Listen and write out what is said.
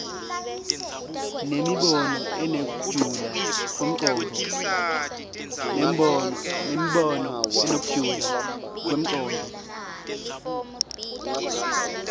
nemibono inekujula kwemcondvo